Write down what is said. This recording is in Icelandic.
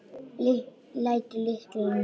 Lætur lyklana í vasann.